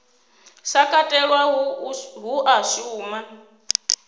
sa katelwa hu a shuma